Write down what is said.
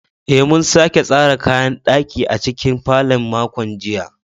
Eh, mun sake tsara kayan ɗaki a cikin falon makon jiya